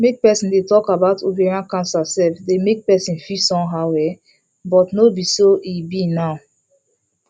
make persin dey talk about ovarian cancer sef dey make persin feel somehow um but no be so e be now